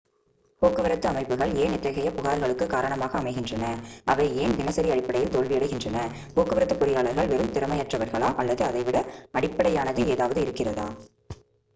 போக்குவரத்து அமைப்புகள் ஏன் இத்தகைய புகார்களுக்கு காரணமாக அமைகின்றன அவை ஏன் தினசரி அடிப்படையில் தோல்வியடைகின்றன போக்குவரத்து பொறியாளர்கள் வெறும் திறமையற்றவர்களா அல்லது இதைவிட அடிப்படையானது ஏதாவது நடக்கிறதா